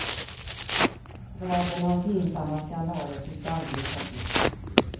Raden av pinsamma skandaler tycks aldrig ta slut.